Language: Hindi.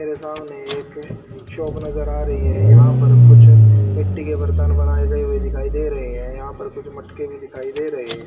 मेरे सामने एक शॉप नजर आ रही है यहां पर कुछ मिट्टी के बर्तन बनाए गए हुए दिखाई दे रहे हैं यहां पर कुछ मटके भी दिखाई दे रहे हैं।